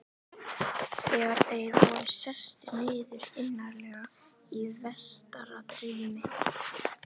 Þegar þeir voru sestir niður, innarlega í vestara rými